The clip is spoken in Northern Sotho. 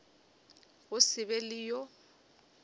go se be le yo